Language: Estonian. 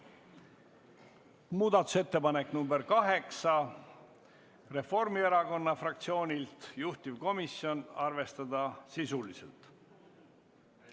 Muudatusettepanek nr 8 on Reformierakonna fraktsioonilt, juhtivkomisjoni ettepanek on arvestada seda sisuliselt.